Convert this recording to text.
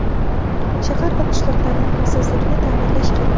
Shahar va qishloqlarning xavfsizligini ta’minlash kerak.